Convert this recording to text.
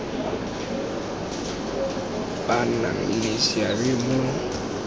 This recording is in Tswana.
ba nang le seabe mo